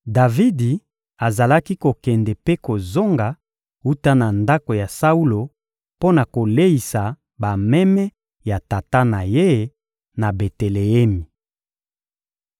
Davidi azalaki kokende mpe kozonga wuta na ndako ya Saulo mpo na koleisa bameme ya tata na ye na Beteleemi.